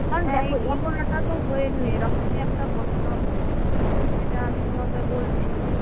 কারণ দেখো এই ঘটনাটা তো হয়েছে এরকমই একটা ঘটনা হয়েছে। এটা আমি তোমাকে বলছি।